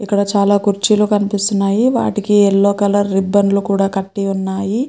ఇక్కడ చాలా కుర్చీలు కనిపిస్తున్నాయి వాటికి యెల్లో కలర్ రిబ్బన్ లు కూడా కట్టి ఉన్నాయి.